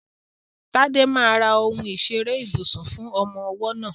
Tade máa ra ohun ìṣeré ibùsùn fún ọmọ ọwọ́ náà.